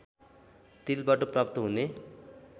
तिलबाट प्राप्त हुने